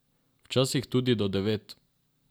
Včasih tudi do devet.